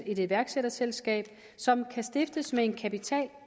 et iværksætterselskab som kan stiftes med en kapital